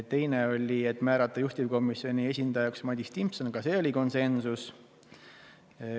Teine otsus oli määrata juhtivkomisjoni esindajaks Madis Timpson, ka selles oli konsensus.